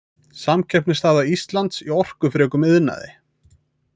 Samkeppnisstaða Íslands í orkufrekum iðnaði.